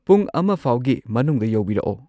ꯄꯨꯡ ꯑꯃꯐꯥꯎꯒꯤ ꯃꯅꯨꯡꯗ ꯌꯧꯕꯤꯔꯛꯑꯣ꯫